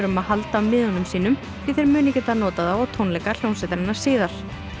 að halda miðum sínum því þeir muni geta notað þá á tónleika hljómsveitarinnar síðar